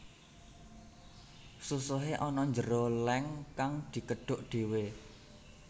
Susuhe ana njero leng kang dikedhuk dhewe